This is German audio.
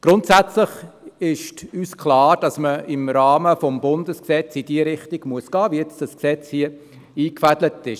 Grundsätzlich ist uns klar, dass man im Rahmen des Bundesgesetzes in die Richtung gehen muss, wie dieses Gesetz sie hier eingefädelt ist.